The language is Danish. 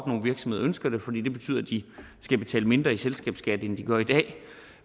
nogle virksomheder ønsker det fordi det betyder at de skal betale mindre i selskabsskat end de gør i dag